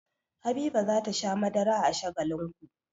Habiba za ta sha madara a Shagalinku.